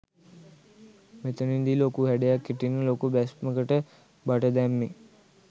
මෙතනදී ලොකු හැඩයක් හිටින්න ලොකු බැස්මකට බට දැම්මේ.